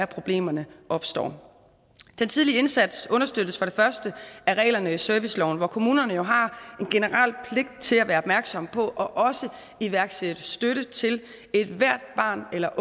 problemerne opstår den tidlige indsats understøttes for det første af reglerne i serviceloven hvor kommunerne jo har en generel pligt til at være opmærksom på og iværksætte støtte til ethvert barn eller